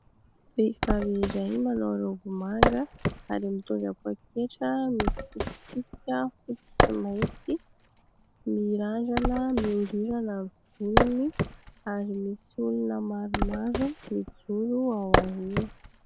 Vehivavy iray manao raoby manga ary mitondra pôketra misy tsipitsipika fotsy sy mainty. mirandrana miorirana ny volony ary misy olona maromaro mijoro ao aorianany.